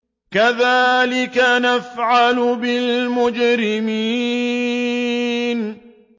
كَذَٰلِكَ نَفْعَلُ بِالْمُجْرِمِينَ